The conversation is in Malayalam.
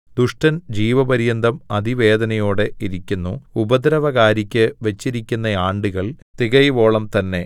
ദുഷ്ടൻ ജീവപര്യന്തം അതിവേദനയോടെ ഇരിക്കുന്നു ഉപദ്രവകാരിക്ക് വച്ചിരിക്കുന്ന ആണ്ടുകൾ തികയുവോളം തന്നെ